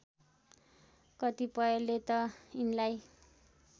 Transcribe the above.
कतिपयले त यिनलाई